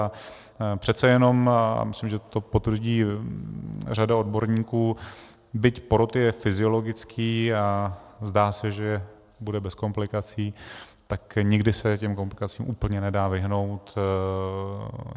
A přece jenom, a myslím, že to potvrdí řada odborníků, byť porod je fyziologický a zdá se, že bude bez komplikací, tak někdy se těm komplikacím úplně nedá vyhnout.